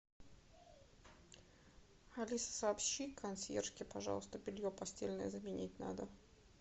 алиса сообщи консьержке пожалуйста белье постельное заменить надо